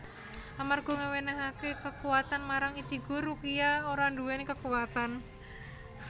Amarga ngewenehake kekuwatan marang Ichigo Rukia ora nduweni kekuwatan